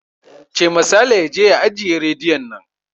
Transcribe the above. Cema Saleh ya je ya ajiye rediyon nan!